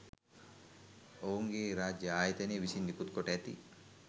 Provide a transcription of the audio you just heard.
ඔවුන්ගේ රාජ්‍ය ආයතන විසින් නිකුත්කොට ඇති